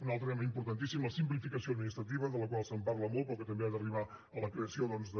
un altre tema importantíssim la simplificació administrativa de la qual es parla molt però que també ha d’arribar a la creació doncs de